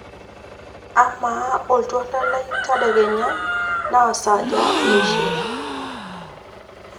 amaa oltuala lai le tadekenya na saaja iishirr